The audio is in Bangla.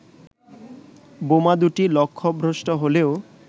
বোমা দু'টি লক্ষ্যভ্রষ্ট হলেও